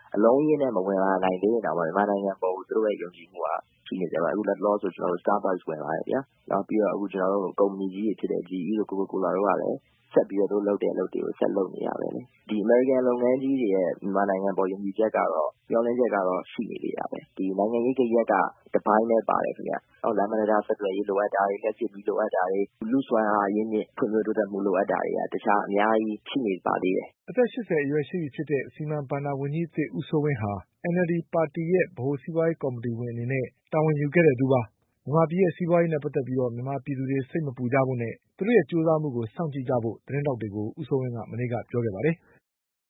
။ အလုံးအရင်းနဲ့ မဝင်လာနိုင်သေးရင်တောင်မှ မြန်မာနိုင်ငံကို သူတို့ရဲ့ ယုံကြည်မှုကတော့ ဆက်ရှိနေပါတယ်။ အခုလက်တလောဆိုရင် starbucks ဝင်လာတယ်ဗျာ ကုမ္ပဏီကြီးတွေဖြစ်တဲ့ coca cola တို့ကလည်း ဆက်ပြီးတော့ သူတို့အလုပ်တွေကို ဆက်လုပ်နေတာပဲလေ။ ဒီအမေရိကန် ကုမ္ပဏီကြီးတွေရဲ့ မြန်မာနိုင်ငံအပေါ်ယုံကြည်ချက်ကတော့ မျှော်လင့်ချက်ကတော့ ရှိနေတယ်။ နိုင်ငံရေးဂယက်ကတော့ တပိုင်းပဲပါတယ်ခင်ဗျ။ ကျနော်တို့ လမ်းပန်းတံတားဆက်သွယ်ရေးလိုအပ်တာတွေ လျက်စစ်မီးလိုအပ်တာတွေ ၊ လူ့စွမ်းအားအရင်းအမြစ် ဖွံ့ဖြိုးတိုးတက်ဖို့လိုတာတွေ က အများကြီးှရှိနေပါသေးတယ်။" အသက် ၈၀အရွယ်ရှိပြီဖြစ်တဲ့ ဝန်ကြီးဦးစိုးဝင်းဟာ NLDပါတီရဲ့ ဗဟိုစီးပွါးရေးကော်မီတီဝင်အနေနဲ့တာဝန်ယူခဲ့တဲ့သူပါ။ မြန်မာပြည်စီးပွါးရေးနဲ့ပတ်သက်ပြီး မြန်မာပြည်သူတွေ စိတ်မပူကြဖို့နဲ့ သူတို့ရဲ့ကြိုးစားမှုကို စောင့်ကြည့်ကြဖို့ သတင်း ထောက်တွေကို မနေ့ကပြောခဲ့ပါတယ်။